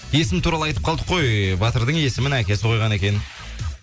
есім туралы айтып қалдық қой ііі батырдың есімін әкесі қойған екен